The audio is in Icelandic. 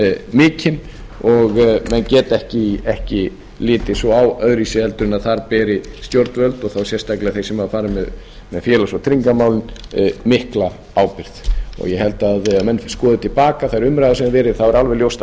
mikinn og menn geta ekki litið svo á öðruvísi en þar beri stjórnvöld og þá sérstaklega þeir sem fara með félags og tryggingamálin mikla ábyrgð ég held að þegar menn skoði til baka þær umræður sem hafa verið sé alveg ljóst að